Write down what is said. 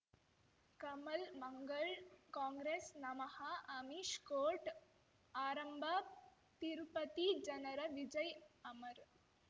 ಕಮಲ್ ಮಂಗಳ್ ಕಾಂಗ್ರೆಸ್ ನಮಃ ಅಮಿಷ್ ಕೋರ್ಟ್ ಆರಂಭ ತಿರುಪತಿ ಜನರ ವಿಜಯ್ ಅಮರ್